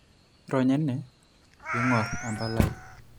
Ironya ene pee iing'or empalai.